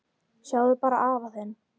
Sjáðu bara afa þinn.